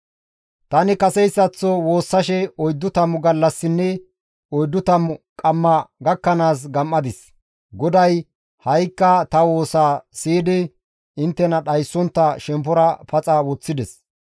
Tani kaseyssaththo woossashe oyddu tammu gallassinne oyddu tammu qamma gakkanaas gam7adis; GODAY ha7ikka ta woosaa siyidi inttena dhayssontta shemppora paxa woththides.